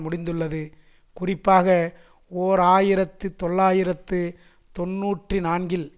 முடிந்துள்ளது குறிப்பாக ஓர் ஆயிரத்தி தொள்ளாயிரத்து தொன்னூற்றி நான்கில்